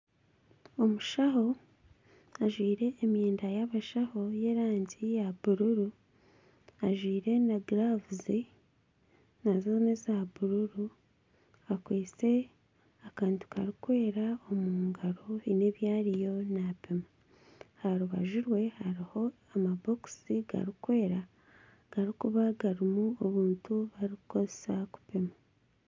Omushaho ajwaire emyenda y'abashaho y'erangi ya bururu ajwaire na giravuzi nazo neza bururu akwitse akantu karikwera omu ngaro haine ebi ariyo napima. Aha rubaju rwe hariho amabokisi garikwera garikuba garimu obuntu obu barikukozesa okupima.